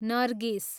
नर्गिस